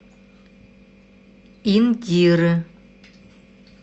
индиры